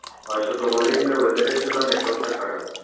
হয়ত তোমার ই কি-না weather এর জন্য network টা খারাপ।